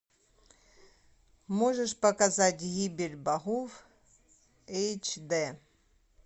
можешь показать гибель богов эйч дэ